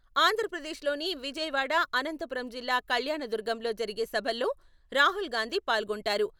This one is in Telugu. ఆంధ్రప్రదేశ్ లోని విజయవాడ, అనంతపురం జిల్లా కళ్యాణదుర్గంలో జరిగే సభల్లో రాహుల్ గాంధీ పాల్గొంటారు.